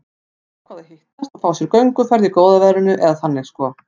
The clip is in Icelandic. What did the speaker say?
Þau ákváðu að hittast og fá sér gönguferð í góða veðrinu, eða þannig sko.